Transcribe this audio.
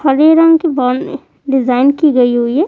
हरे रंग की में डिजाइन की गई हुईं हैं।